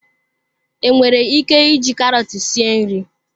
Enwere ike iji karọt sie nri.